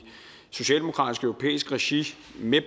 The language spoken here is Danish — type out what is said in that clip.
socialdemokratisk europæisk regi